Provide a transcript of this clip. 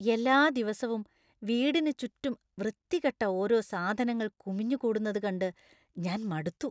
എല്ലാ ദിവസവും വീടിന് ചുറ്റും വൃത്തികെട്ട ഓരോ സാധനങ്ങൾ കുമിഞ്ഞുകൂടുന്നത് കണ്ട് ഞാൻ മടുത്തു.